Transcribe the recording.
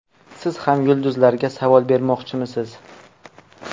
Siz ham yulduzlarga savol bermoqchimisiz?